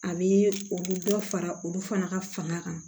A bɛ o bɛ dɔ fara olu fana ka fanga kan